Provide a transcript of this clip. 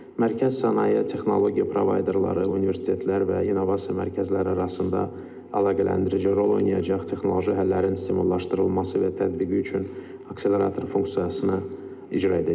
Mərkəz sənaye, texnologiya provayderları, universitetlər və innovasiya mərkəzləri arasında əlaqələndirici rol oynayacaq, texnoloji həllərin stimullaşdırılması və tətbiqi üçün akselerator funksiyasını icra edəcək.